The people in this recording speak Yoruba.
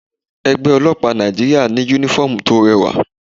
Ẹgbẹ́ ọlọ́pàá Nàìjíríà ní uniform tó rẹwà.